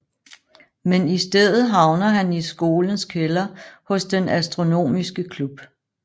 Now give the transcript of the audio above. Men i stedet havner han i skolens kælder hos den astronomiske klub